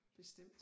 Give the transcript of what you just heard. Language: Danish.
Bestemt